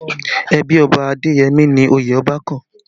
Ẹbí Ọba Adeyemi ni oyè Ọba kàn